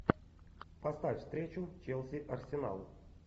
поставь встречу челси арсенал